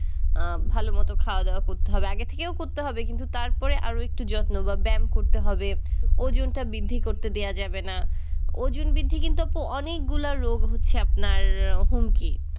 আ ভালো মতো খাওয়াদাওয়া করতে হবে আগে থেকেও করতে হবে কিন্তু তারপরে আরও একটু যত্ন বা ব্যায়াম করতে হবে ওজনটা বৃদ্ধি করতে দেয়া যাবে না ওজন বৃদ্ধি কিন্তু আপু অনেকগুলা রোগ হচ্ছে আপনার হুমকি